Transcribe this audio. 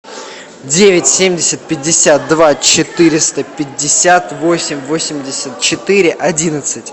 девять семьдесят пятьдесят два четыреста пятьдесят восемь восемьдесят четыре одиннадцать